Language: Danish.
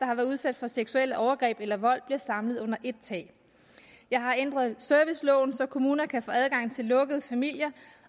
har været udsat for seksuelle overgreb eller vold bliver samlet under ét tag jeg har ændret serviceloven så kommuner kan få adgang til lukkede familier